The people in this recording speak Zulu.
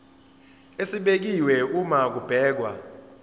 esibekiwe uma kubhekwa